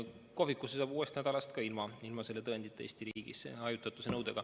Kohvikusse saab uuest nädalast Eesti riigis ka ilma selle tõendita, kui täidetakse hajutatuse nõuet.